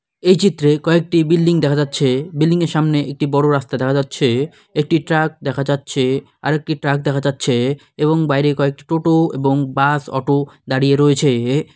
এই চিত্রে কয়েকটি বিল্ডিং দেখা যাচ্ছে বিল্ডিং -এর সামনে একটি বড় রাস্তা দেখা যাচ্ছে-এ একটি ট্রাক দেখা যাচ্ছে-এ আরেকটি ট্রাক দেখা যাচ্ছে-এ এবং বাইরে কয়েকটি টোটো এবং বাস অটো দাঁড়িয়ে রয়েছে-এ।